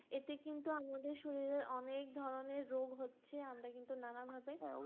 এতে কিন্তু আমাদের শরীরের অনেক ধরণের রোগ হচ্ছে, আমরা কিন্তু নানা ভাবে